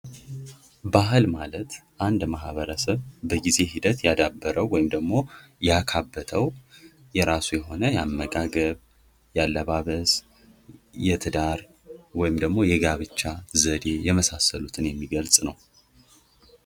ባህል ማለት አንድ ማህበረሰብ በጊዜ ሂደት ያዳበረው ወይም ደግሞ ያካበተው የራሱን የሆነ የአመጋገብ ፣ ያለባበስ ፣ የትዳር ወይም ደግሞ የጋብቻ ዘዴ የመሳሰሉትን የሚገልጽ ነው ።